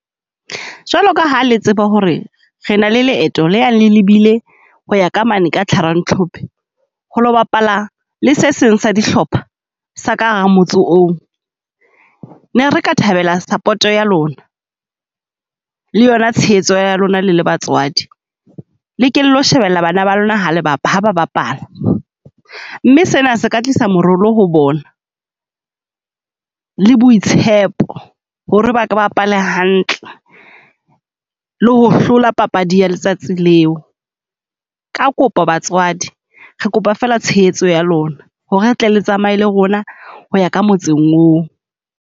Jwalo ka ha le tseba ho re re na le leeto le yang le lebile ho ya ka mane ka tlharantlhophe, ho lo bapala le se seng sa dihlopha sa ka hara motse oo. Ne re ka thabela support-o ya lona, le yona tshehetso ya lona le le batswadi. Le ke le lo shebella bana ba lona ha le ha ba bapala, mme sena se ka tlisa morolo ho bona le boitshepo ho re ba ke bapale hantle, le ho hlola papadi ya letsatsi leo. Ka kopo batswadi re kopa fela tshehetso ya lona ho re le tle le tsamaye le rona ho ya ka motseng oo.